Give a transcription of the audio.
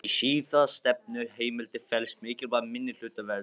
Í síðastnefndu heimildinni felst mikilvæg minnihlutavernd.